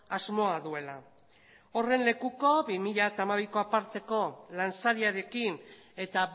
asmoa duela horren lekuko bi mila hamabiko aparteko lansariarekin eta